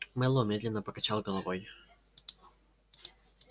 мэллоу медленно покачал головой